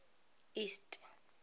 east